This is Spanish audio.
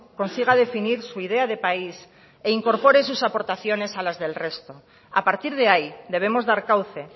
consiga definir su idea de país e incorpore sus aportaciones a las del resto a partir de ahí debemos dar cauce